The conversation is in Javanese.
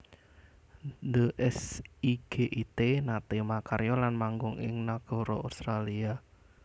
The S I G I T naté makarya lan manggung ing nagara Australia